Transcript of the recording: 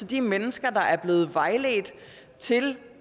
de mennesker der er blevet vejledt til